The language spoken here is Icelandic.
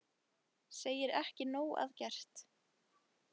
Segir ekki nóg að gert